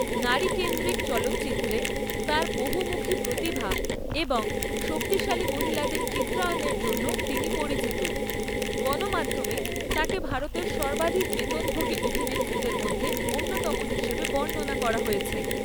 নারীকেন্দ্রিক চলচিত্রে তাঁর বহুমুখী প্রতিভা এবং শক্তিশালী মহিলাদের চিত্রায়নের জন্য তিনি পরিচিত, গণমাধ্যমে তাঁকে ভারতের সর্বাধিক বেতনভোগী অভিনেত্রীদের মধ্যে অন্যতম হিসাবে বর্ণনা করা হয়েছে।